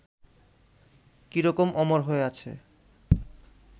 কী রকম অমর হয়ে আছে